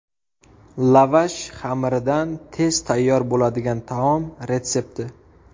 Lavash xamiridan tez tayyor bo‘ladigan taom retsepti.